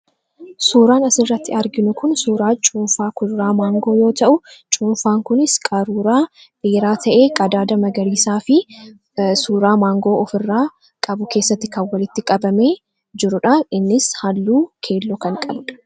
Suuraan as irratti arginu kun suuraa cuunfaa kuduraa maangoo yoo ta'u, cuunfaan kunis qaruuraa beeraa ta'ee qadaada magariisaa fi suuraa maangoo of irraa qabu keessatti kan walitti qabame jiruudha innis halluu keelloo kan qabudha.